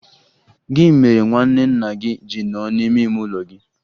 Gị mere nwanne nna gị ji nọ n'ime ime ụlọ gị?